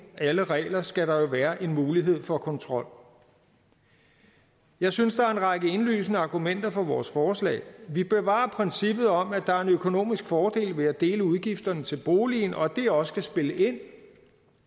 alle regler skal der jo være mulighed for kontrol jeg synes der er en række indlysende argumenter for vores forslag vi bevarer princippet om at der er en økonomisk fordel ved at dele udgifterne til boligen og at det også skal spille ind